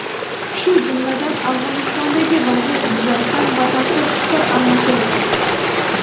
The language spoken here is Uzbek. shu jumladan Afg‘onistondagi vaziyat yuzasidan batafsil fikr almashildi.